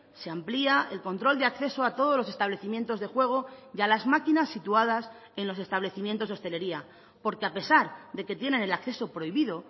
se amplía el control de acceso a todos los establecimientos de juego y a las máquinas situadas en los establecimientos hostelería porque a pesar de que tienen el acceso prohibido